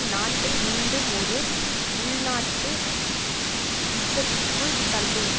நாட்டை மீண்டும் ஒரு உள்நாட்டு யுத்தத்திக்குள் தள்ளும்